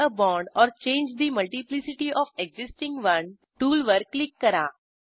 add a bond or change the multiplicity of existing one टूलवर click करा